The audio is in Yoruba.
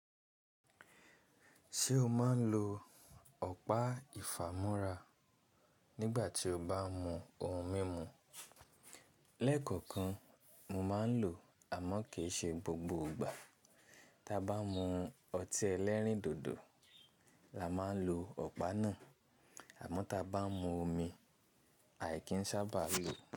Ṣé o máa ń lo ọ̀pá ìfàmora nígbà tí o bá mú ohun mímu? Lẹ́kọ̀ọ̀kan mo máa ń lò, àmọ́ kì í ṣe gbogbo ìgbà. Tí a bá mú ọtí ẹlẹ́rìndòdò, la máa ń lo ọ̀pá náà, àmọ́ tí a bá mú omi, àì kí ń sábà lo.